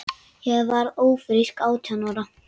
Ég varð ófrísk átján ára.